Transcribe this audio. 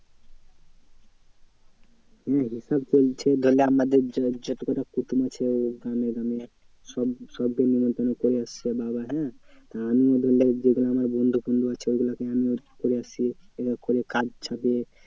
হ্যাঁ হিসাব চলছে ধরেনে আমাদের যত কটা কুটুম আছে গ্রামে গ্রামে সব, সবকে নেমন্তন্ন করে এসছে বাবা হ্যাঁ। আমিও ধরেনে যেগুলো আমার বন্ধু বন্ধু আছে ওগুলোকে আমি করে এসছি card ছাপিয়ে